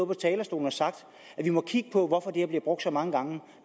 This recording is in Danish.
på talerstolen og sagt at vi måtte kigge på hvorfor det her blev brugt så mange gange